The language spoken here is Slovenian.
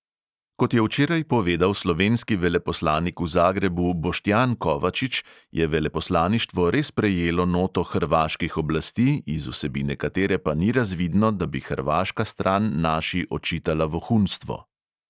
Kot je včeraj povedal slovenski veleposlanik v zagrebu boštjan kovačič, je veleposlaništvo res prejelo noto hrvaških oblasti, iz vsebine katere pa ni razvidno, da bi hrvaška stran naši očitala vohunstvo.